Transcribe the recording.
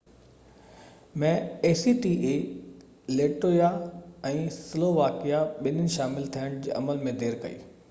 Latvia ۽ Slovakia ٻنين acta ۾ شامل ٿيڻ جي عمل ۾ دير ڪئي